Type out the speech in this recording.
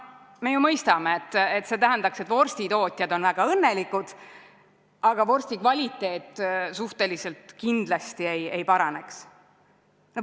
Me ju mõistame, et see tähendaks, et vorstitootjad on väga õnnelikud, aga vorsti kvaliteet suhteliselt kindlasti ei paraneks.